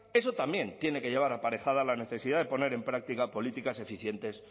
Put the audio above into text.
eso también tiene que llevar aparejada la necesidad de poner en práctica políticas eficientes